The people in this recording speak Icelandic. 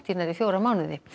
nærri fjóra mánuði